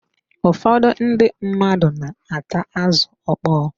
Ụfọdụ ndị mmadụ na-ata azụ ọkpọ.